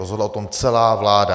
Rozhodla o tom celá vláda.